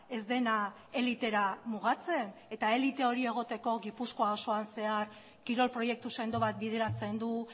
ez dena elitera mugatzen eta elite hori egoteko gipuzkoa osoan zehar kirol proiektu sendo bat bideratzen du